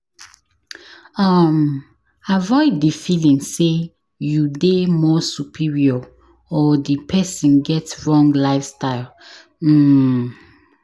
um Avoid di feeling sey you dey more superior or di person get wrong lifestyle um